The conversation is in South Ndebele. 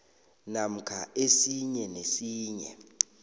namkha esinye nesinye